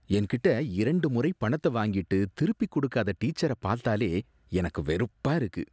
என்கிட்ட இரண்டு முறை பணத்த வாங்கிட்டு திருப்பி கொடுக்காத டீச்சர பாத்தாலே எனக்கு வெறுப்பா இருக்கு